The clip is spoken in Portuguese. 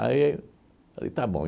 Aí eu falei, tá bom.